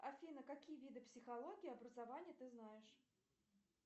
афина какие виды психологии образования ты знаешь